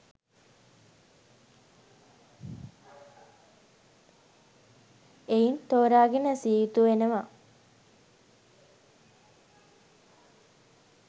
එයින් තෝරාගෙන ඇසිය යුතු වෙනවා